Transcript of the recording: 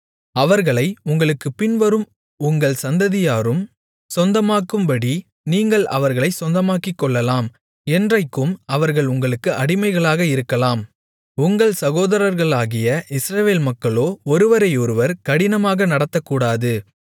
அவர்களை உங்களுக்குப் பின்வரும் உங்கள் சந்ததியாரும் சொந்தமாக்கும்படி நீங்கள் அவர்களைச் சொந்தமாக்கிக்கொள்ளலாம் என்றைக்கும் அவர்கள் உங்களுக்கு அடிமைகளாக இருக்கலாம் உங்கள் சகோதரர்களாகிய இஸ்ரவேல் மக்களோ ஒருவரையொருவர் கடினமாக நடத்தக்கூடாது